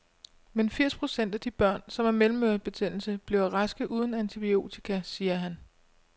Men firs procent af de børn, som har mellemørebetændelse, bliver raske uden antibiotika, siger han.